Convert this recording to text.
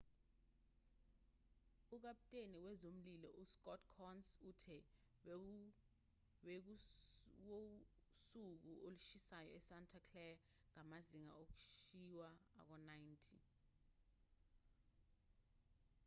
ukaputeni wezomlilo uscott kouns uthe bekuwusuku olushisayo esanta clara ngamazinga okushiwa ako-90